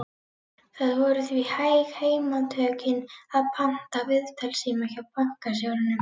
Það voru því hæg heimatökin að panta viðtalstíma hjá bankastjóranum.